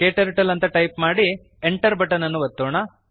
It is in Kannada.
ಕ್ಟರ್ಟಲ್ ಅಂತ ಟೈಪ್ ಮಾಡಿ enter ಬಟನ್ ಅನ್ನು ಒತ್ತೋಣ